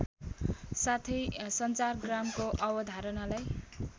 साथै सञ्चारग्रामको अवधारणालाई